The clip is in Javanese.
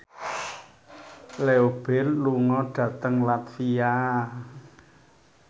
Leo Bill lunga dhateng latvia